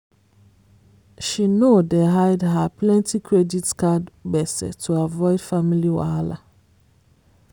she know dey hide her plenty credit card gbese to avoid family wahala.